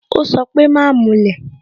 Ó sọ pé "Má mulẹ̀